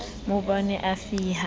mabone a re fi ha